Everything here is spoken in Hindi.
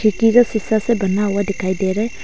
खिड़की जो शीशा से बना हुआ दिखाई दे रा है।